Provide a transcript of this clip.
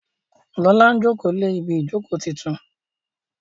Lọla njoko lẹ Ibi ìjókòó títún.